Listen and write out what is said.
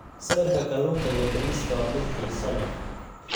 Sawirka kalluunka iyo bariiska waa mid xiiso leh.